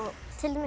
til dæmis